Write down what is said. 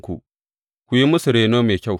Ku yi musu reno mai kyau.